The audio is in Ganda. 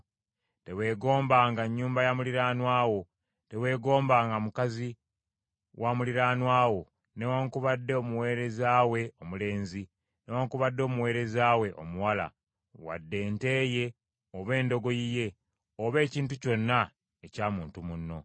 Teweegombanga nnyumba ya muliraanwa wo. Teweegombanga mukazi wa muliraanwa wo, newaakubadde omuweereza we omusajja, newaakubadde omuweereza we omukazi, wadde ente ye, oba endogoyi ye, oba ekintu kyonna ekya muntu munno.”